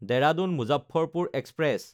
দেৰাদুন–মুজাফ্ফৰপুৰ express